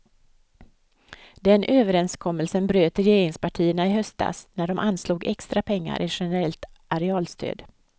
Den överenskommelsen bröt regeringspartierna i höstas, när de anslog extra pengar i generellt arealstöd.